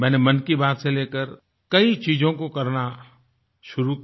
मैंने मन की बात से लेकर कई चीजों को करना शुरू किया